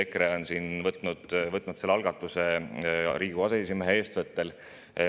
EKRE on võtnud selle algatuse Riigikogu aseesimehe eestvõttel.